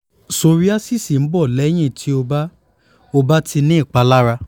psoriasis n bọ́ lẹ́yìn tí o bá o bá ti ní ìpalára